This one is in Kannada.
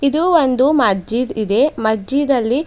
ಇದು ಒಂದು ಮಸ್ಜಿದ್ ಇದೆ ಮಸ್ಜಿದ್ ಅಲ್ಲಿ--